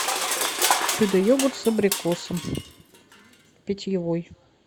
чудо йогурт с абрикосом питьевой